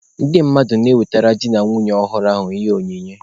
Ndị mmadụ na-ewetere di na nwunye ọhụrụ ahụ ihe onyinye.